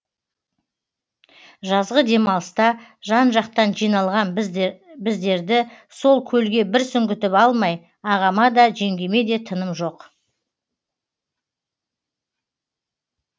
жазғы демалыста жан жақтан жиналған біздірді сол көлге бір сүңгітіп алмай ағама да жеңгеме де тыным жоқ